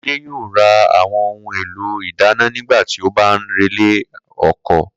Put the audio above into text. Kóredé yóò ra àwo̩n ohun èlò ìdáná nígbà tí ó bá ń relé o̩ko̩